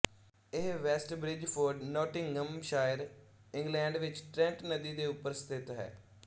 ਇਹ West Bridgford Nottinghamshire England ਵਿੱਚ Trent ਨਦੀ ਦੇ ਉੱਪਰ ਸਥਿਤ ਹੈ